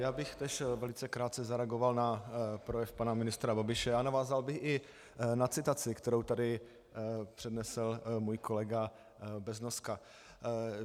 Já bych též velice krátce zareagoval na projev pana ministra Babiše a navázal bych i na citaci, kterou tady přednesl můj kolega Beznoska.